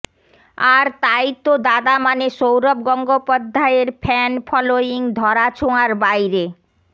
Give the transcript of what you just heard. আর তাই তো দাদা মানে সৌরভ গঙ্গোপাধ্যায়ের ফ্যান ফলোয়িং ধরা ছোঁয়ার বাইরে